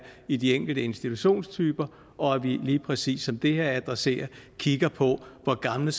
i de enkelte institutionstyper og at vi lige præcis som det her adresserer kigger på hvor gamle